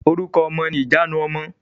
Orúkọ ọmọ ni ìjanu ọmọ.